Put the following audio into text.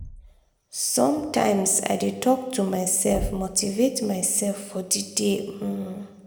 sometimes i dey talk to myself motivate myself for the day. um